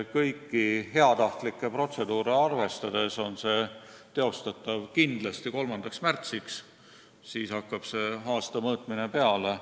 Kõiki heatahtlikke protseduure arvestades on see kindlasti teostatav 3. märtsiks – siis hakkab see aasta mõõtmine peale.